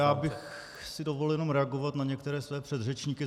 Já bych si dovolil jenom reagovat na některé své předřečníky.